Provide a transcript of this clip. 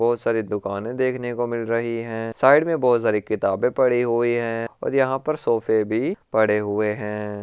बहुत सारी दुकाने देखने को मिल रही है साइड में बहुत सारी किताबें पड़ी हुई हैं और यहाँ पर सोफे भी पड़े हुए हैं।